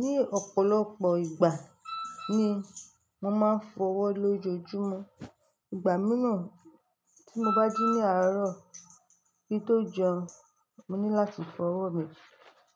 Ní ọ̀pọ̀lọpọ̀ ìgbà ni mo máa ń fọwọ́ lójoojúmọ́. Ìgbà míràn tí mo bá ji ní àárọ̀ kí n tó jẹun, mo ní láti fọwọ́ mi.